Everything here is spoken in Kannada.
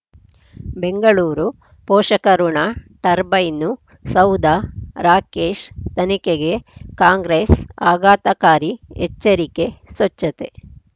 ಬೆಂಗಳೂರು ಪೋಷಕಋಣ ಟರ್ಬೈನು ಸೌಧ ರಾಕೇಶ್ ತನಿಖೆಗೆ ಕಾಂಗ್ರೆಸ್ ಆಘಾತಕಾರಿ ಎಚ್ಚರಿಕೆ ಸ್ವಚ್ಛತೆ